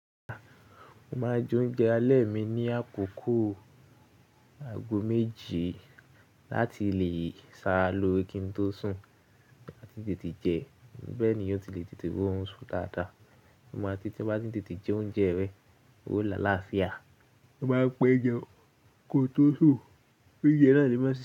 Mo máa ń jẹ oúnjẹ alẹ́ mi ní àkókò ago méje láti lè ṣẹ ara l'ore kí n tó sùn máti tètè jẹ. Bẹ́ẹ̀ ni ó ti le tètè roún so dáadáa. Mo mọ títí bá ti tètè jẹ oúnjẹ rẹ, ó lá láàfíà. Mo máa ń pẹ jẹun ko tó sùn. Méje na ni mo ṣe.